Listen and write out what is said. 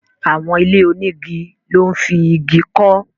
Àwọn ilé onígi lọ́ n fi Igi kọ́